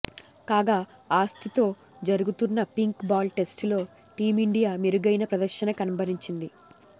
కాగా ఆసీస్తో జరుగుతున్న పింక్ బాల్ టెస్టులో టీమిండియా మెరుగైన ప్రదర్శన కనబరిచింది